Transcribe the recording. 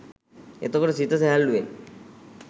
එතකොට සිත සැහැල්ලුවෙන්